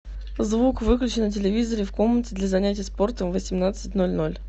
звук выключи на телевизоре в комнате для занятия спортом в восемнадцать ноль ноль